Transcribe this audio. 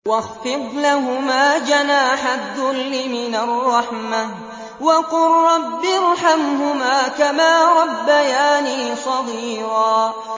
وَاخْفِضْ لَهُمَا جَنَاحَ الذُّلِّ مِنَ الرَّحْمَةِ وَقُل رَّبِّ ارْحَمْهُمَا كَمَا رَبَّيَانِي صَغِيرًا